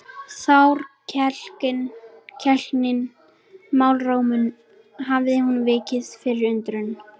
Þrákelknin í málrómnum hafði nú vikið fyrir undrun.